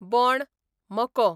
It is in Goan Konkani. बोण, मको